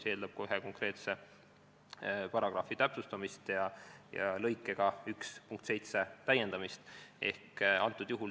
See eeldab konkreetse paragrahvi täpsustamist ja lõikega 17 täiendamist.